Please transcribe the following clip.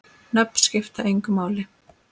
Nöfn skipta engu máli.